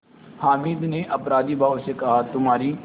हामिद ने अपराधीभाव से कहातुम्हारी